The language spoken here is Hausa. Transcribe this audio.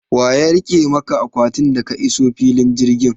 Waya rike maka akwatin ka da ka iso filin jirgi?